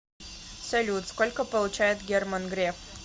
салют сколько получает герман греф